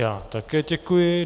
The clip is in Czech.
Já také děkuji.